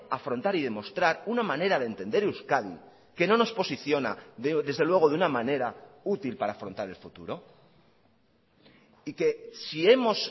afrontar y demostrar una manera de entender euskadi que no nos posiciona desde luego de una manera útil para afrontar el futuro y que si hemos